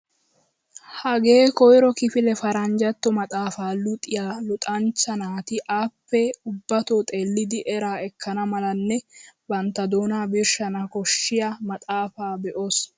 Hagee koyro kifile paranjjatto maxaafaa luxiyaa luxanchcha naati appe ubbatoo xeellidi eraa ekkana malanne bantta doonaa birshshana koshiyaa maxaafaa be'oos!